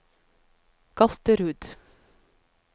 Galterud